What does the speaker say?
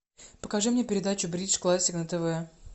покажи мне передачу бридж классик на тв